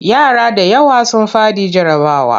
Yara da yawa sun faɗi jarrabawa.